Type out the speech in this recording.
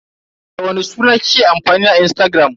Da wani suna kike amfani a Instagram?